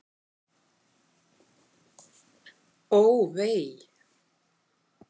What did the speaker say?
Ó, vei!